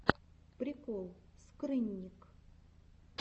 прикол скрынник